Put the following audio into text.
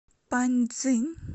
паньцзинь